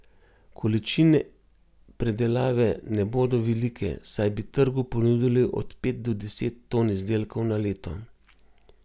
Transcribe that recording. Količine predelave ne bodo velike, saj bi trgu ponudili od pet do deset ton izdelkov na leto.